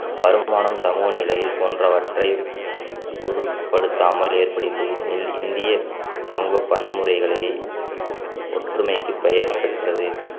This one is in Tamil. வருமானம் சமூகநிலைகள் போன்றவற்றை பொருட்படுத்தாமல் ஏற்படுகின்றனில் இந்திய சமூக பன்முறைகளை ஓ~ ஒற்றுமைக்கு பெயர் பெற்றது